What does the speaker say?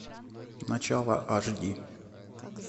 начало аш ди